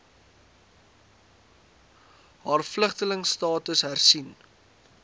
haar vlugtelingstatus hersien